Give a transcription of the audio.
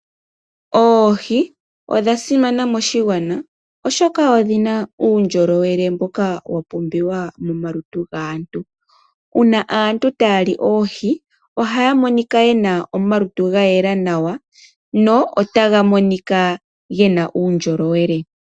Oohi odha simana moshigwana, oshoka odhi na uundjolowele mboka wapumbiwa momalutu gaantu. Uuna aantu taya li oohi, ohaya monika yena omalutu gayela nawa, no otaga monika gena uundjolowele.